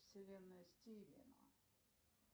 вселенная стивена